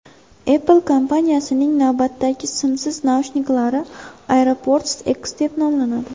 Apple kompaniyasining navbatdagi simsiz naushniklari AirPods X deb nomlanadi.